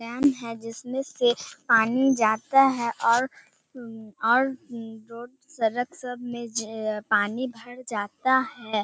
Dam है जिसमें से पानी जाता है और उ और उ रोड सड़क सब में पानी भर जाता है।